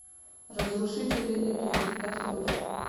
разрушители легенд открой